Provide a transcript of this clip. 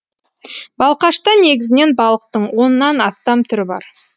балқашта негізінен балықтың оннан астам түрі бар